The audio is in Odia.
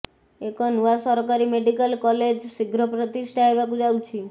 ଏକ ନୂଆ ସରକାରୀ ମେଡିକାଲ କଲେଜ ଶୀଘ୍ର ପ୍ରତିଷ୍ଠା ହେବାକୁ ଯାଉଛି